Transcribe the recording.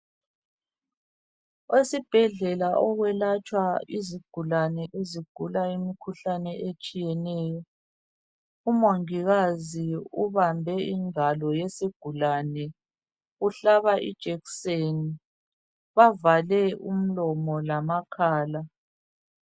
Esibhedlela okwelatshwa izigulane ezigula imikhuhlane etshiyeneyo . Umongikazi ubambe ingalo yesigulane umhlaba ijekiseni bavale umlomo lamakhala.